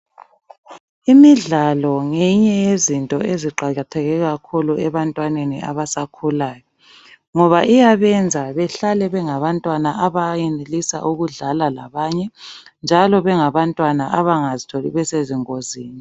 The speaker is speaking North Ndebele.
Imidlalo ngeyinye yezinto eziqakatheke kakhulu ebantwaneni abasakhulayo ngoba iyabenza behlale bengabantwana abayenelisa ukudlala labanye njalo bengabantwana abangazitholi besezingozini.